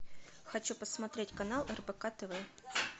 хочу посмотреть канал рбк тв